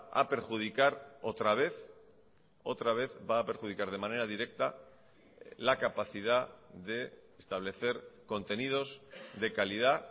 a perjudicar otra vez otra vez va a perjudicar de manera directa la capacidad de establecer contenidos de calidad